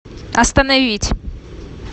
остановить